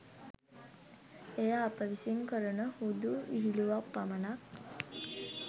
එය අප විසින් කරන හුදු විහිළුවක් පමණක්